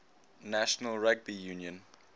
national rugby union